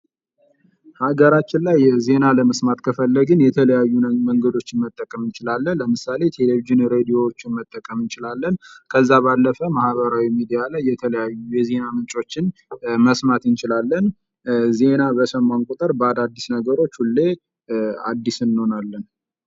ሀገራችን ላይ ዜና ለመስማት ከፈለግን የተለያዩ መንግዶችን መጠቀም እንችላለን ለምሳሌ ቴሌቭዥን ሬዲዮዎችን መጠቀም እንችላለን ከዛ ባለፈ ማህበራዊ ሚዲያ ላይ የተለያዩ የዜና ምንጮችን መስማት እንችላለን:: ዜና በሰማን ቁጥር ባዳዲስ ነገሮች ሁሌ አዲስ እንሆናለን::